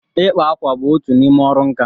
ịkpa ákwà bụ otu n'ime ọrụ nka.